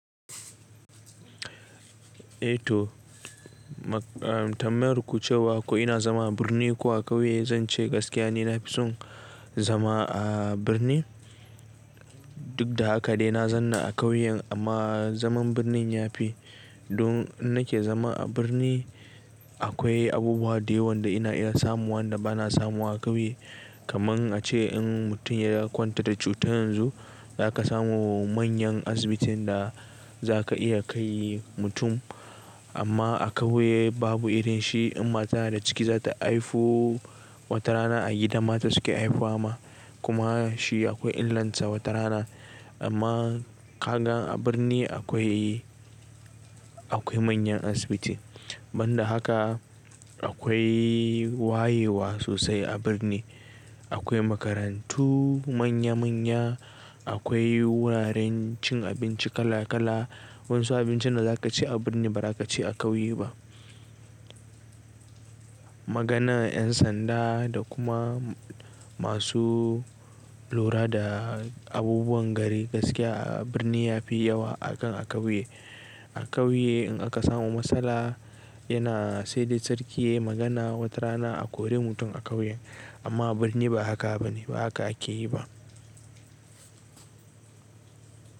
Eh to, tambayan ku cewa ko ina zama a birni ko a ƙauye zan ce gaskiya ne nafi son zama a birni. Duk da haka dai na zanna a ƙauyen amma zaman birni yafi. Don nake zama a birni akwai abubuwa da yawan da ina iya samuwa da ba na samuwa a ƙauye. Kaman ace in mutum ya kwanta da cuta yanzu zaka samu manyan asibitin da za ka iya kai mutum. Amma a ƙauye babu irin shi. In mata na da ciki za ta haifu wata rana a gidan mata suke haifuwa ma. Kuma shi akwai illanta wata rana. Amma ka gan a birni akwai, akwai manyan asibiti. Ban da haka akwai wayewa sosai a birni. Akwai makarantu manya manya. Akwai wuraren cin abinci kala kala. Wasu abincin da za ka ci a birni ba za ka ci a ƙauye ba. Magana yan sanda da kuma masu lura da abubuwan gari gaskiya a birni yafi yawa akan a ƙauye. A ƙauye in aka samu matsala yana sai dai sarki yayi magana wata rana a kore mutum a ƙauye. Amma birni ba haka bane, ba haka ake yi ba.